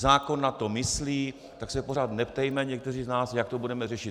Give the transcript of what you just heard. Zákon na to myslí, tak se pořád neptejme někteří z nás, jak to budeme řešit.